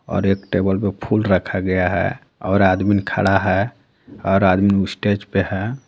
और एक टेबल पर फूल रखा गया हैं और आदमीन खड़ा हैं और आदमीन स्टेज पे हैं.